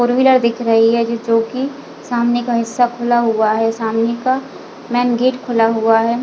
Four wheeler दिख रही है जो कि सामने का हिस्सा खुला हुआ है सामने का मैन गेट खुला हुआ है।